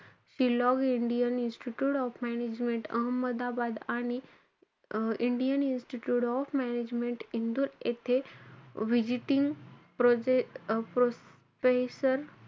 Shillong, Indian institute of management Ahmedabad आणि um Indian institute of management Indore येथे visiting professor,